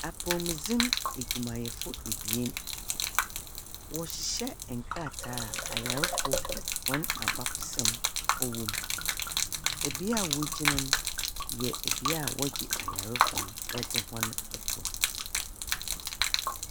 Apɔwmudze edwumayɛfo ebien, wɔrehyehyɛ nkrataa a ayarfo hɔn abakɔsɛm wɔ mu. Bea a wogyina no yɛ bea a wɔgye ayarefo no wɔdze hɔn to.